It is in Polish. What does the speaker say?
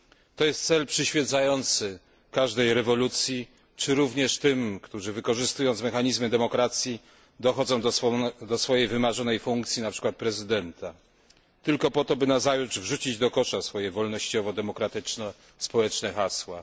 To jest cel przyświecający każdej rewolucji, czy również tym, którzy wykorzystując mechanizmy demokracji, dochodzą do swojej wymarzonej funkcji np. prezydenta, tylko po to, żeby nazajutrz wrzucić do kosza swoje wolnościowo demokratyczno społeczne hasła.